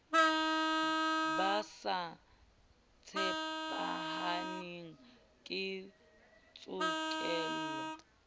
ba sa tshepahaleng ke tshokelo